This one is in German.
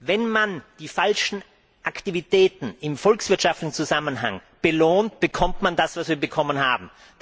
Wenn man die falschen Aktivitäten im volkswirtschaftlichen Zusammenhang belohnt, bekommt man das, was wir bekommen haben.